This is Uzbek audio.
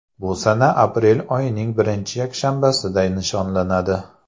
Bu sana aprel oyining birinchi yakshanbasida nishonlanadi.